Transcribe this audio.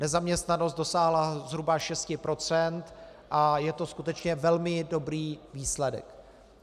Nezaměstnanost dosáhla zhruba 6 % a je to skutečně velmi dobrý výsledek.